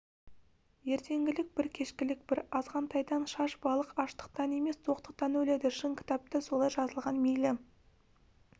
ертеңгілік бір кешкілік бір азғантайдан шаш балық аштықтан емес тоқтықтан өледі шын кітапта солай жазылған мейлі